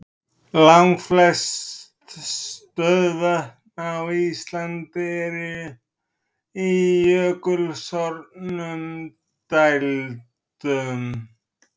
Langflest stöðuvötn á Íslandi eru í jökulsorfnum dældum.